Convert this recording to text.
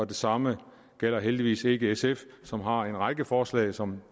det samme gælder heldigvis ikke sf som har en række forslag som